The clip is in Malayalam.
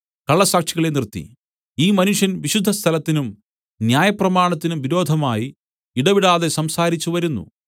കള്ള സാക്ഷികളെ നിർത്തി ഈ മനുഷ്യൻ വിശുദ്ധസ്ഥലത്തിനും ന്യായപ്രമാണത്തിനും വിരോധമായി ഇടവിടാതെ സംസാരിച്ചുവരുന്നു